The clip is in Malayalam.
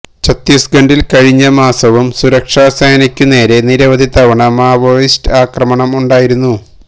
ഛത്തീസ്ഗഡില് കഴിഞ്ഞ മാസവും സുരക്ഷാ സേനയ്ക്കുനേരെ നിരവധി തവണ മാവോയിസ്റ്റ് ആക്രമണം ഉണ്ടായിരുന്നു